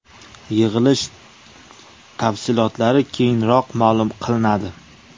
Yig‘ilish tafsilotlari keyinroq ma’lum qilinadi.